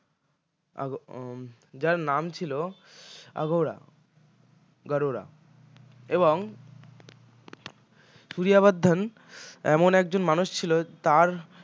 আহ যার নাম ছিলো আঘোড়া গাড়ুরা এবং সূরিয়া বর্ধন এমন একজন মানুষ ছিল তাঁর